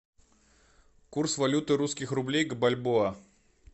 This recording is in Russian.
курс валюты русских рублей к бальбоа